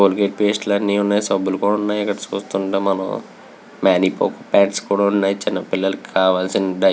Colgate paste లు అని వున్నాయ్. సబ్బుల్లు కూడా వున్నాయ్. ఇక్కడ చూస్తుంటే మనం మేనిపోకోపాడ్స్ కూడా వున్నాయి.చిన్న పిల్లలకి కావాల్సిన డై--